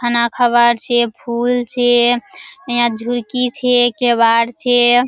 खाना खबार छे फूल छे नया झुरकी छे केवार छे।